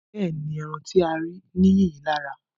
Bẹ́ẹ̀ni, ẹran tí a rí ní yìnyín lára